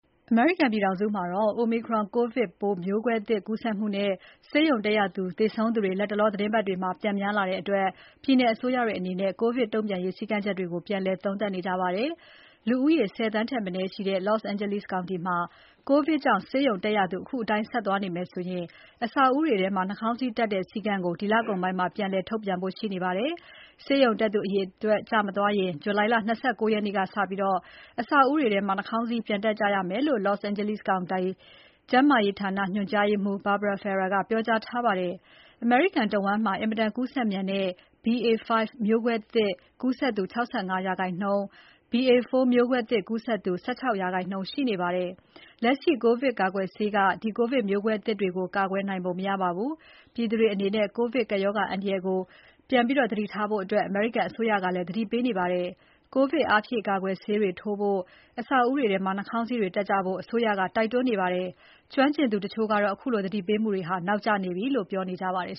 အမေရိကန်ပြည်ထောင်စုမှာ Omicron ကိုဗစ်ပိုး မျိုးကွဲသစ်ကူးစက်မှုနဲ့ ဆေးရုံတက်ရသူ သေဆုံးသူတွေ လတ်တလောသီတင်းပတ်တွေမှာ ပြန်များလာတဲ့အတွက် ပြည်နယ်အစိုးရတွေအနေနဲ့ ကိုဗစ်တုံ့ပြန်ရေး စည်းကမ်းတွေကို ပြန်လည်သုံးသပ်နေကြပါတယ်။ လူဦးရေ ၁၀ သန်းထက်မနည်းရှိတဲ့ Los Angeles County မှာ ကိုဗစ်ကြောင့် ဆေးရုံတက်ရသူ အခုအတိုင်းဆက်သွားမယ်ဆိုရင် အဆောက်အဦးတွေထဲမှာ နှာခေါင်းစည်းတပ်တဲ့ စည်းကမ်းကို ဒီလကုန်ပိုင်းမှာ ပြန်လည် ထုတ်ပြန်ဖို့ရှိနေပါတယ်။ ဆေးရုံတက်သူအရေအတွက် ကျမသွားရင် July လ ၂၉ ရက်နေ့က စပြီး အဆောက်အဦးတွေထဲမှာ နှာခေါင်းစည်း ပြန်တပ်ကြရမယ်လို့ Los Angeles County ကျန်းမာရေးဌာန ညွှန်ကြားရေးမှူး Barbara Ferrer ကပြောကြားထားပါတယ်။ အမေရိကန်နိုင်ငံတဝန်းမှာ အင်မတန် ကူးစက်မြန်တဲ့ BA.5 မျိုးကွဲသစ် ကူးစက်သူ ၆၅% BA.4 မျိုးကွဲသစ် ကူးစက်သူ ၁၆% ရှိနေပါတယ်။ လက်ရှိ ကိုဗစ်ကာကွယ်ဆေးတွေက ဒီ ကိုဗစ်မျိုးကွဲသစ်တွေကို ကာကွယ်နိုင်ပုံ မရပါဘူး။ ပြည်သူတွေအနေနဲ့ ကိုဗစ်ကပ်ရောဂါအန္တရာယ်ကို အမေရိကန်ပြည်သူတွေ ပြန်ပြီးသတိထားကြဖို့ အမေရိကန်အစိုးရကလည်း သတိပေးနေပါတယ်။ ကိုဗစ် အားဖြည့်ကာကွယ်ဆေးတွေ ထိုးဖို့၊ အဆောက်အဦးတွေထဲမှာ နှာခေါင်းစည်းတွေတပ်ကြဖို့ အစိုးရက တိုက်တွန်းနေပါတယ်။ ကျွမ်းကျင်သူတချို့ကတော့ အခုလို သတိပေးမှုတွေ နောက်ကျနေပြီလို့ ပြောနေကြပါတယ်